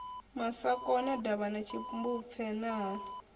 masakona davhana tshimbupfe na ha